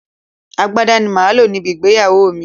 Agbádá ni màá lò níbi ìgbéyàwó mi